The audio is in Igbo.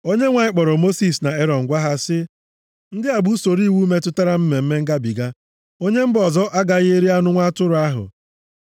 Onyenwe anyị kpọrọ Mosis na Erọn gwa ha sị, “Ndị a bụ usoro iwu metụtara Mmemme Ngabiga: “Onye mba ọzọ agaghị eri anụ nwa atụrụ ahụ.